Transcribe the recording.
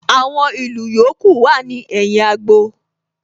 Àwọn ìlù yòókù wà ní ẹ̀yìn agbo